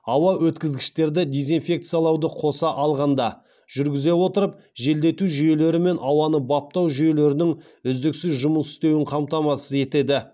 ауа өткізгіштерді дезинфекциялауды қоса алғанда жүргізе отырып желдету жүйелері мен ауаны баптау жүйелерінің үздіксіз жұмыс істеуін қамтамасыз етеді